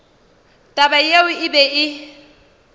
taba yeo e be e